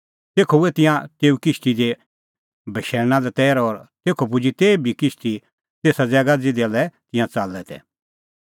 तेखअ हुऐ तिंयां तेऊ किश्ती दी बशैल़णा लै तैर और तेखअ पुजी तेभी किश्ती तेसा ज़ैगा ज़िधा लै तिंयां च़ाल्लै तै